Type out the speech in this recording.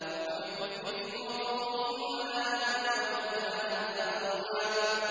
وَبِكُفْرِهِمْ وَقَوْلِهِمْ عَلَىٰ مَرْيَمَ بُهْتَانًا عَظِيمًا